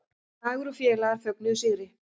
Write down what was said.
Dagur og félagar fögnuðu sigri